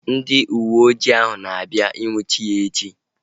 Ndị uwe ojii ahu a na-abịa ị nnwuchi ya echi?